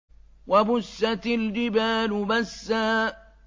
وَبُسَّتِ الْجِبَالُ بَسًّا